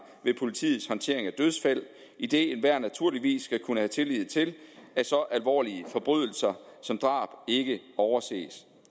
ved politiets håndtering af dødsfald idet enhver naturligvis skal kunne have tillid til at så alvorlige forbrydelser som drab ikke overses